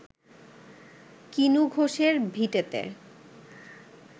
কিনু ঘোষের ভিটেতে